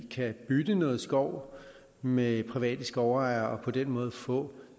kan bytte noget skov med private skovejere og på den måde få